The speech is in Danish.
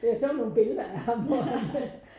Der er sådan nogle billeder af ham hvor han